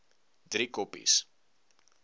driekoppies